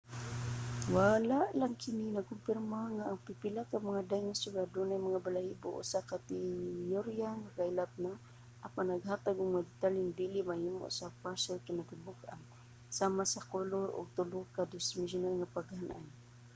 wala lang kini nagkumpirma nga ang pipila ka mga dinosaur adunay mga balahibo usa ka teyorya nga kaylap na apan naghatag og mga detalyeng dili mahimo sa mga fossil sa kinatibuk-an sama sa kolor ug tulo-ka-dimesyunal nga paghan-ay